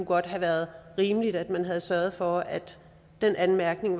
godt have været rimeligt at man havde sørget for at den anmærkning